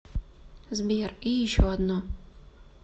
сбер и еще одно